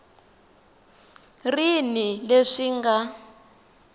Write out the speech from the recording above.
ri ni leswi swi nga